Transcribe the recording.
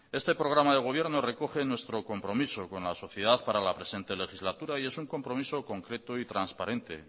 este programa del gobierno recoge nuestro compromiso con la sociedad para la presente legislatura y es un compromiso concreto y transparente